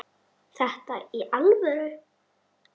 Í alvöru?